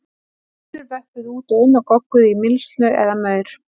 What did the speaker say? Hænur vöppuðu út og inn og gogguðu í mylsnu eða maur.